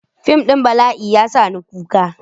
Fim ɗin bala'i ya sa ni kuka.